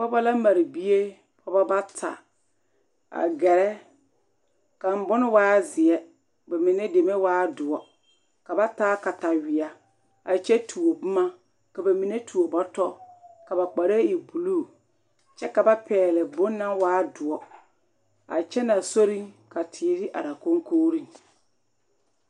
pɔgba la mare bie pɔgba bata a gɛrɛ kang bon waa zeɛ ka ba mine deme waa doɔre ka ba taa kataweɛ a kyɛ tuo boma ka mine tuo bɔto ka ba kparee e buluu kyɛ ka ba pɛŋle bon naŋ waa doɔre a kyenee a sori ka teere are a kɔŋkoori.